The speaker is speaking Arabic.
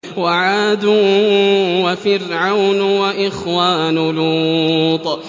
وَعَادٌ وَفِرْعَوْنُ وَإِخْوَانُ لُوطٍ